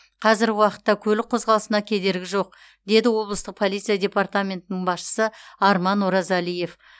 қазіргі уақытта көлік қозғалысына кедергі жоқ деді облыстық полиция департаментінің басшысы арман оразалиев